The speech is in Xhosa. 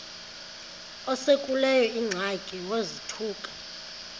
esekuleyo ingxaki wazothuka